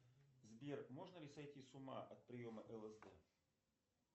сбер можно ли сойти с ума от приема лсд